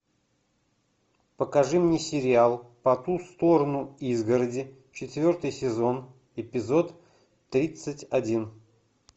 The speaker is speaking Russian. покажи мне сериал по ту сторону изгороди четвертый сезон эпизод тридцать один